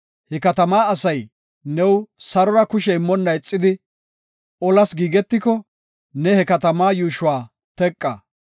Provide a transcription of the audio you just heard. He katamaa asay new sarora kushe immonna ixidi, olas giigetiko, ne he katamaa yuushuwa teqa.